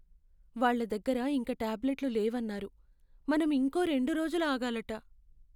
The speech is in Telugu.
వాళ్ళ దగ్గర ఇంక టాబ్లెట్లు లేవన్నారు. మనం ఇంకో రెండు రోజులు ఆగాలట.